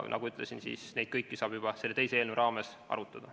Nagu ütlesin, neid kõiki saab juba selle teise eelnõu raames arutada.